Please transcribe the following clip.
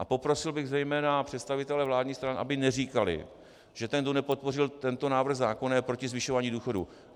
A poprosil bych zejména představitele vládních stran, aby neříkali, že ten, kdo nepodpořil tento návrh zákona, je proti zvyšování důchodů.